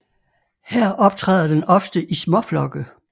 Her optræder den ofte i småflokke